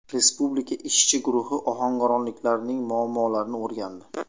Respublika ishchi guruhi ohangaronliklarning muammolarini o‘rgandi.